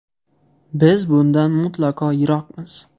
Biz bundan mutlaqo yiroqmiz.